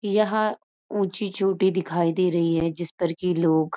यहा ऊची चोटी दिखाई दे रही है जिस पर की लोग --